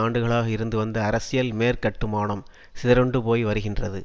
ஆண்டுகளாக இருந்து வந்த அரசியல் மேற்கட்டுமானம் சிதறுண்டு போய் வருகின்றது